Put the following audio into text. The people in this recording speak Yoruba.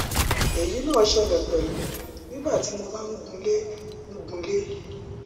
èyí náà ṣẹlẹ pẹlú nígbà tí mo bá ń gunlé ń gunlé